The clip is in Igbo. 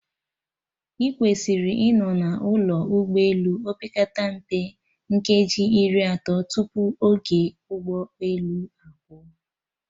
Ị kwesịrị ịnọ na ụlọ ụgbọ elu, opekata mpe nkeji iri atọ tupu oge ụgbọ elu a pụọ